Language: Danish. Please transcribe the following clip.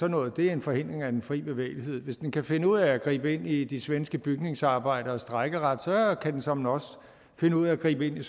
noget er en forhindring af den fri bevægelighed hvis den kan finde ud af at gribe ind i de svenske bygningsarbejderes strejkeret kan de såmænd også finde ud af at gribe ind i